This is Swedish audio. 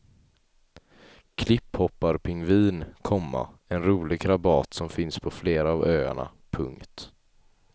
Klipphopparpingvin, komma en rolig krabat som finns på flera av öarna. punkt